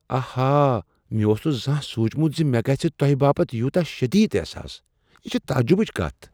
آہا! مےٚ اوس نہٕ زانہہ سوچمت ز مےٚ گژھہٕ تۄہہ باپت یوتاہ شدید احساس۔ یہ چھ تعجبچ کتھ۔